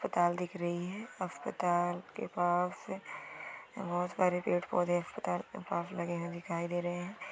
अस्पताल दिख रही है। अस्पताल के पास बहुत सारे पेड़-पौधे अस्पताल के पास लगे हुए दिखाई दे रहे है।